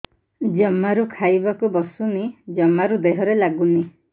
ଜମାରୁ ଖାଇବାକୁ ବସୁନି ଜମାରୁ ଦେହରେ ଲାଗୁନି